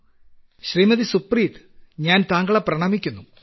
പ്രധാനമന്ത്രി ശ്രീമതി സുപ്രീത് ഞാൻ താങ്കളെ പ്രണമിക്കുന്നു